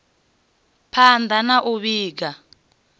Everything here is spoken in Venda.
phand a na u vhiga